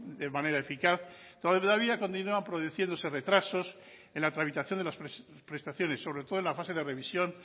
de manera eficaz todavía continúa produciéndose retrasos en la tramitación de las prestaciones sobre todo en la fase de revisión